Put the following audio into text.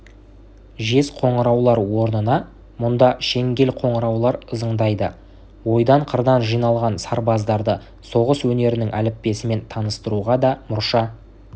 жез қоңыраулар орнына мұнда шеңгел қоңыраулар ызыңдайды ойдан-қырдан жиналған сарбаздарды соғыс өнерінің әліппесімен таныстыруға да мұрша